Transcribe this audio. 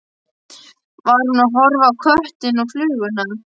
Var hún að horfa á köttinn og fluguna?